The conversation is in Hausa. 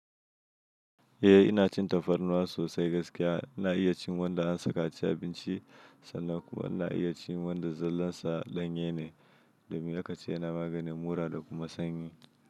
Eh ina cin tafarnuwa sosai gaskiya. Ina iya cin wanda an saka a cikin abinci sannan kuma ina iya cin wanda zallarsa danye ne, domin aka ce yana maganin mura da kuma sanyi.